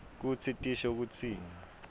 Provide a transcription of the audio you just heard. kutsi tisho kutsini